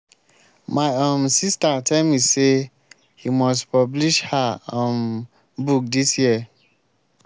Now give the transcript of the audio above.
my um sister tell me say he must publish her um book dis year